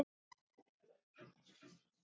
Það er líka okkar hugsun.